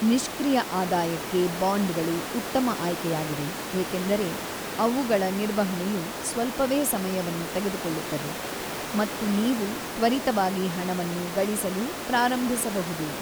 ನಿಷ್ಕ್ರಿಯ ಆದಾಯಕ್ಕೆ ಬಾಂಡ್‌ಗಳು ಉತ್ತಮ ಆಯ್ಕೆಯಾಗಿವೆ ಏಕೆಂದರೆ ಅವುಗಳ ನಿರ್ವಹಣೆಯು ಸ್ವಲ್ಪವೇ ಸಮಯವನ್ನು ತೆಗೆದುಕೊಳ್ಳುತ್ತದೆ ಮತ್ತು ನೀವು ತ್ವರಿತವಾಗಿ ಹಣವನ್ನು ಗಳಿಸಲು ಪ್ರಾರಂಭಿಸಬಹುದು.